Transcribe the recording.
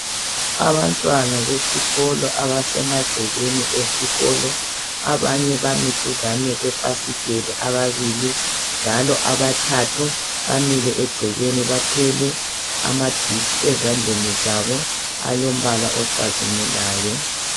Abantwana besikolo abasemagcekeni esikolo, abanye bami duzane kwefasiteli ababili njalo abathathu bamile egcekeni bathwele amaditshi ezandleni zabo alombala ocazimulayo.